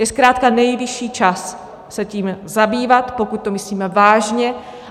Je zkrátka nejvyšší čas se tím zabývat, pokud to myslíme vážně.